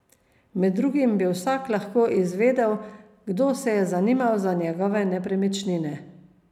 Med drugim bi vsak lahko izvedel, kdo se je zanimal za njegove nepremičnine.